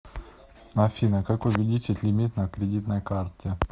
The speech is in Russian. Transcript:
афина как увеличить лимит на кредитной карте